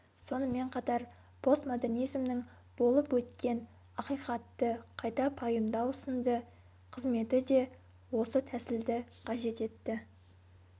сонымен қатар постмодернизмнің болып өткен ақиқатты қайта пайымдау сынды қызметі де осы тәсілді қажет етті